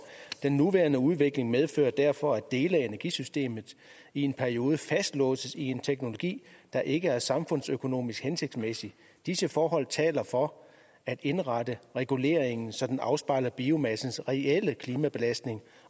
den nuværende udvikling medfører derfor at dele af energisystemet i en periode fastlåses i en teknologi der ikke er samfundsøkonomisk hensigtsmæssig disse forhold taler for at indrette reguleringen så den afspejler biomassens reelle klimabelastning